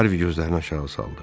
Harvi gözlərini aşağı saldı.